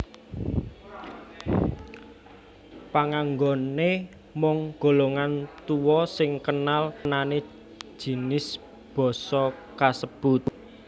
Panganggoné mung golongan tuwa sing kenal anané jinis basa kasebut